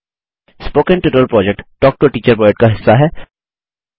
spoken tutorial project talk to a teacher project का हिस्सा है